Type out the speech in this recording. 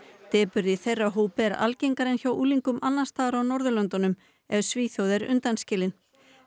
depurð í þeirra hópi er algengari en hjá unglingum annars staðar á Norðurlöndunum ef Svíþjóð er undanskilin